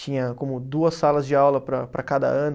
Tinha como duas salas de aula para para cada ano.